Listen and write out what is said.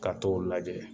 Ka t'o lajɛ